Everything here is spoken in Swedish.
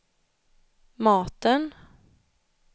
maten